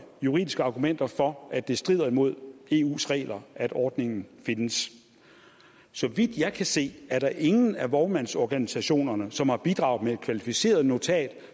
juridiske argumenter for at det strider imod eus regler at ordningen findes så vidt jeg kan se er der ingen af vognmandsorganisationerne som har bidraget med et kvalificeret notat